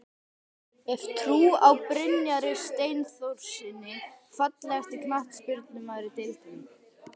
Hef trú á Brynjari Steinþórssyni Fallegasti knattspyrnumaðurinn í deildinni?